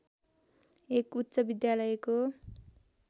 एक उच्च विद्यालयको